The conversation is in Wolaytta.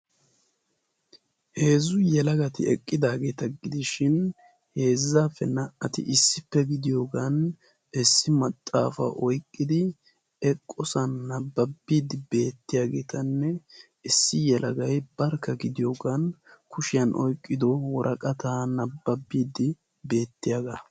Heezzu yelagati eqqidaageeta gidishin heezzappe naa''ati issippe gidiyoogan issi maxaafa oyqqidi eqqoosona nabbadid beettiyoogan issi yelagay barkka eqqidi kushiyaan oyqqidi woraqata nababbiid beettiyaaga.